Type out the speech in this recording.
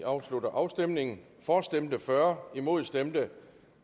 afslutter afstemningen for stemte fyrre imod stemte